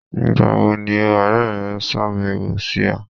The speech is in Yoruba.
Nígbà wo ni ọ̀rẹ̀ rẹ̀ ṣáàbẹ̀wò sí ọ̀?